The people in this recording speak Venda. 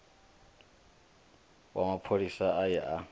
wa mapholisa a ye a